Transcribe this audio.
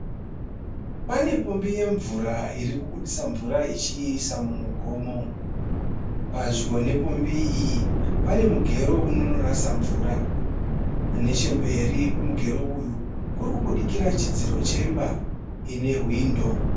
Pane pombi yemvura iri kubudisa mvura ichiisa mumugomo. Padyo nepombi iyi pane mugero unonorasa mvura. Nechemberi kwemugero uyu kuri kubudikira chidziro chemba ine hwindo.